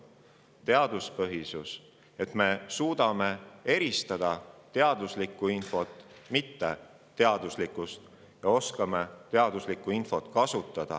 Oluline on teaduspõhisus, et me suudaks eristada teaduslikku infot mitteteaduslikust ja oskaks teaduslikku infot kasutada.